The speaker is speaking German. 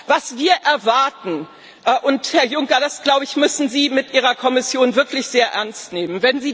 Was wir erwarten und Herr Juncker, das, glaube ich, müssen Sie mit Ihrer Kommission wirklich sehr ernst nehmen